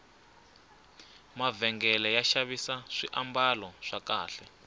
mavhengele ya xavisa swambalo swa kahle